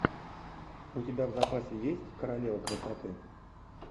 у тебя в запасе есть королева красоты